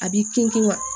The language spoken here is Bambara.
A b'i kun na